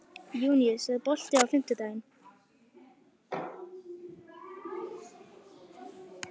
Júníus, er bolti á fimmtudaginn?